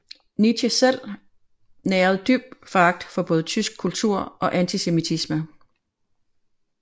Nietzsche selv nærede dyb foragt både for tysk kultur og antisemitisme